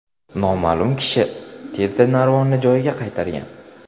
Noma’lum kishi tezda narvonni joyiga qaytargan.